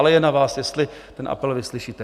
Ale je na vás, jestli ten apel vyslyšíte.